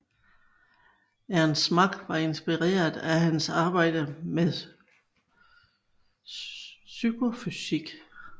Ernst Mach var inspireret af hans arbejde med psykofysik